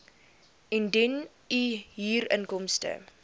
indien u huurinkomste